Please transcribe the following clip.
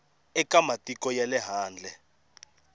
eka matiko ya le handle